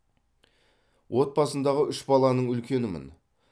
отбасындағы үш баланың үлкенімін